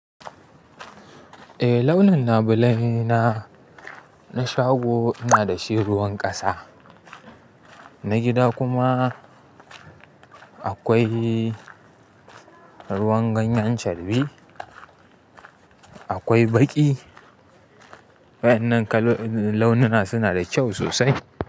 Eh launin labulaye na, na shago ina dashi ruwan ƙasa, na gida kuma aƙwai ruwan ganyen charbi, akwai baƙi. Waƴannan launina suna da ƙyau sosai.